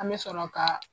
An bɛ sɔrɔ ka